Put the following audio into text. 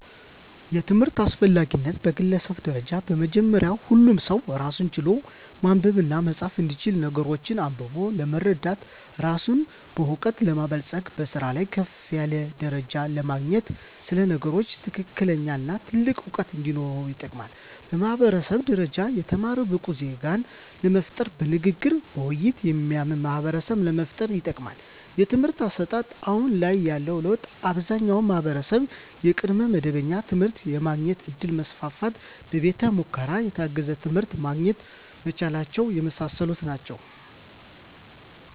የትምህርት አስፈላጊነት በግለሰብ ደረጃ በመጀመሪያ ሁሉም ሰው ራስን ችሎ ማንበብና መፃፍ እንዲችል ነገሮችን አንብቦ ለመረዳት ራስን በእውቀት ለማበልፀግ በስራ ላይ ከፍ ያለ ደረጃ ለማግኘት ስለ ነገሮች ትክክለኛነትና ጥልቅ እውቀት እንዲኖር ይጠቅማል። በማህበረሰብ ደረጃ የተማረ ብቁ ዜጋን ለመፍጠር በንግግርና በውይይት የሚያምን ማህበረሰብን ለመፍጠር ይጠቅማል። የትምህርት አሰጣጥ አሁን ላይ ያለው ለውጥ አብዛኛው ማህበረሰብ የቅድመ መደበኛ ትምህርት የማግኘት እድል መስፋፋትና በቤተ ሙከራ የታገዘ ትምህርት ማግኘት መቻላቸው የመሳሰሉት ናቸው።